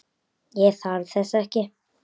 Ég þarf þess ekki.